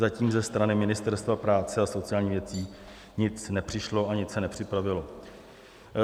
Zatím ze strany Ministerstva práce a sociálních věcí nic nepřišlo a nic se nepřipravilo.